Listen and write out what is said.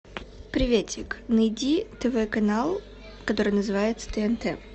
приветик найди тв канал который называется тнт